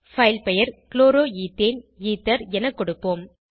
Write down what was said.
file பெயர் chloroethane ether என கொடுப்போம்